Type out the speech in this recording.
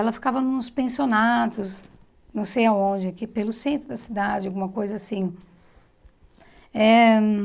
Ela ficava nos pensionatos, não sei aonde, aqui pelo centro da cidade, alguma coisa assim eh.